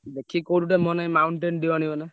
ଦେଖିକି କୋଉଠି ଗୋଟେ ନହେଲେ ନାଇଁ Mountain Dew ଆଣିବନା।